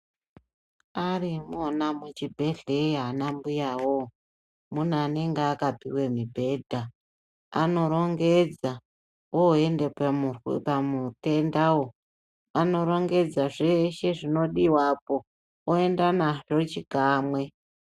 Arimwona muzvibhedhleya anambuyawo, mune anenge akapiwe mibhedha anorongedza oenda pamutendawo. Anorongedza zveshe zvinodiwapo oendanazvo chikamwe.